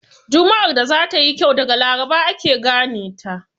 Juma'ar da za ta yi kyau daga laraba ake gane ta.